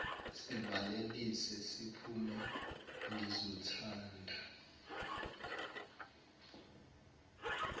sivalelise siphume ngizothanda